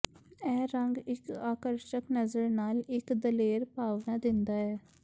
ਇਹ ਰੰਗ ਇਕ ਆਕਰਸ਼ਕ ਨਜ਼ਰ ਨਾਲ ਇਕ ਦਲੇਰ ਭਾਵਨਾ ਦਿੰਦਾ ਹੈ